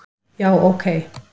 já ok